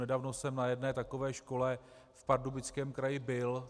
Nedávno jsem na jedné takové škole v Pardubickém kraji byl.